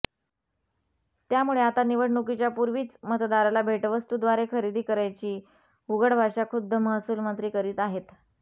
त्यामुळे आता तर निवडणुकीच्या पूर्वीच मतदाराला भेटवस्तूद्वारे खरेदी करायची उघड भाषा खुद्द महसूलमंत्री करीत आहेत